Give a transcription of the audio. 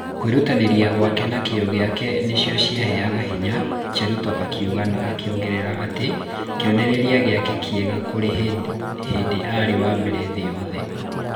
Kwĩrutanĩria gwake na kĩo giake nĩcio ciheaga hinya,' Cheruto akiuga na akĩongerera atĩ kĩonereria giake kiega kurĩ hĩndĩ aarĩ wa mbere thĩĩ yothe.